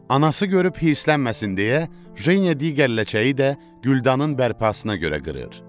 Anası görüb hirslənməsin deyə, Jeniya digər ləçəyi də güldanın bərpasına görə qırır.